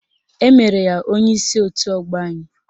Emere ya onyeisi otu ọgbọ anyị